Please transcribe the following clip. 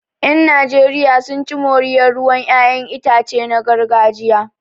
Yan Najeriya sun ci moriyar ruwan 'ya'yan itace na gargajiya